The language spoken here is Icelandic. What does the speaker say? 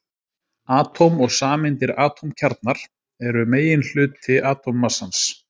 Atóm og sameindir Atómkjarnar eru meginhluti atómmassans.